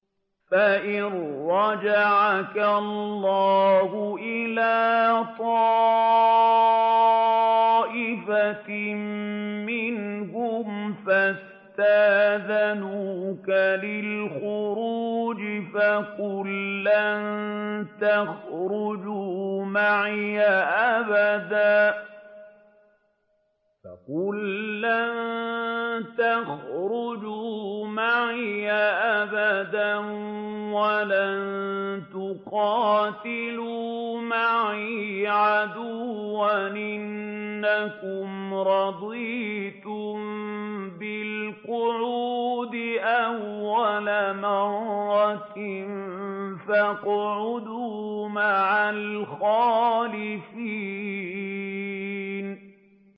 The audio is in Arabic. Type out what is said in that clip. فَإِن رَّجَعَكَ اللَّهُ إِلَىٰ طَائِفَةٍ مِّنْهُمْ فَاسْتَأْذَنُوكَ لِلْخُرُوجِ فَقُل لَّن تَخْرُجُوا مَعِيَ أَبَدًا وَلَن تُقَاتِلُوا مَعِيَ عَدُوًّا ۖ إِنَّكُمْ رَضِيتُم بِالْقُعُودِ أَوَّلَ مَرَّةٍ فَاقْعُدُوا مَعَ الْخَالِفِينَ